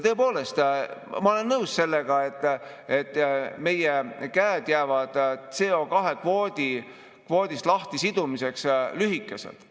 Tõepoolest, ma olen nõus sellega, et meie käed jäävad CO2-kvoodist lahtisidumiseks lühikeseks.